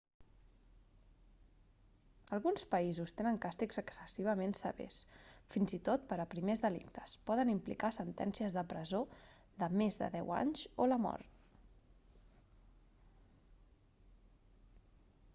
alguns països tenen càstigs excessivament severs fins i tot per a primers delictes poden implicar sentències de presó de més de deu anys o la mort